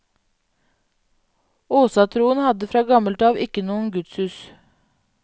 Åsatroen hadde fra gammelt av ikke noen gudshus.